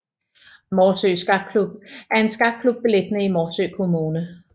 Morsø Skakklub er en skakklub beliggende i Morsø Kommune